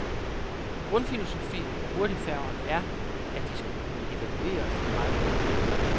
Grundfilosofien på hurtigfærgerne er, at de skal kunne evakueres meget hurtigt.